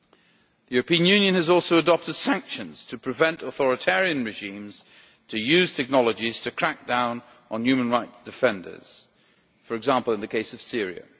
The European Union has also adopted sanctions to prevent authoritarian regimes using technologies to crack down on human rights defenders, for example in the case of Syria.